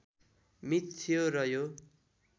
myth थियो र यो